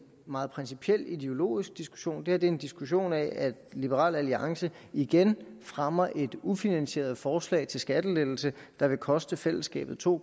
meget principiel ideologisk diskussion det her er en diskussion af at liberal alliance igen fremmer et ufinansieret forslag til skattelettelser der vil koste fællesskabet to